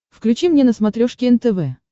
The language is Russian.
включи мне на смотрешке нтв